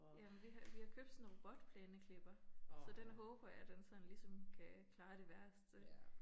Ja men vi har vi har købt sådan en robotplæneklipper så den håber jeg den sådan ligesom kan klare det værste